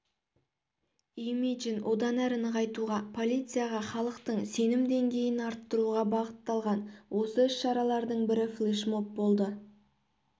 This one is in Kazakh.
имиджін одан әрі нығайтуға полицияға халықтың сенім деңгейін арттыруға бағытталған осы іс-шаралардың бірі флешмоб болды